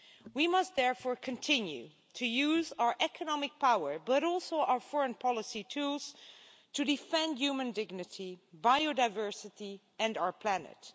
We must therefore continue to use our economic power, but also our foreign policy tools, to defend human dignity, biodiversity and our planet.